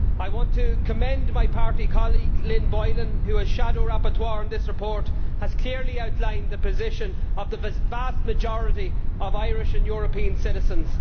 I want to commend my party colleague Lynn Boylan who, as shadow rapporteur on this report, has clearly outlined the position of the vast majority of Irish and European citizens.